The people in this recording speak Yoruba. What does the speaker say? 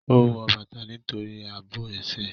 Ó wọ bàtà nítorí àbò ẹsẹ̀